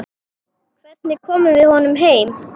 Hvernig komum við honum heim?